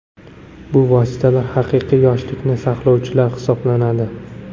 Bu vositalar haqiqiy yoshlikni saqlovchilar hisoblanadi.